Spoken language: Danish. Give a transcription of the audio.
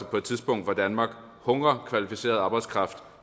på et tidspunkt hvor danmark hungrer kvalificeret arbejdskraft